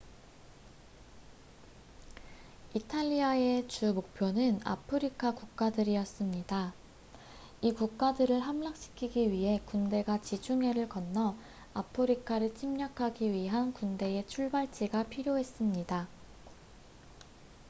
이탈리아의 주목표는 아프리카 국가들이었습니다 이 국가들을 함락시키기 위해 군대가 지중해를 건너 아프리카를 침략하기 위한 군대의 출발지가 필요했습니다